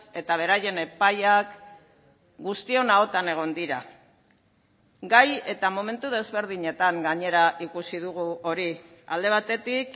eta beraien epaiak guztion ahotan egon dira gai eta momentu desberdinetan gainera ikusi dugu hori alde batetik